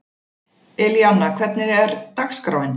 Elíanna, hvernig er dagskráin?